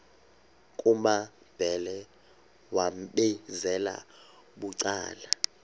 kumambhele wambizela bucala